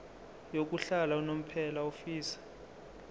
yokuhlala unomphela ofisa